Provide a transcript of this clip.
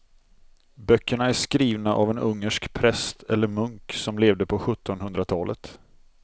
Böckerna är skrivna av en ungersk präst eller munk som levde på sjuttonhundratalet.